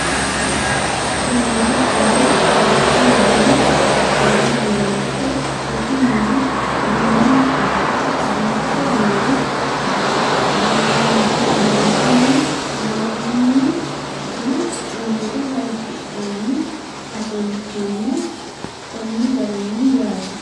Shiimmadaannu qaquuli diru aanna dirante rosu miniha uduunensa udidhe biiffe noori baanbunni lolahanni nna anga hayiishidhanni affanttanno konni garinni yaatte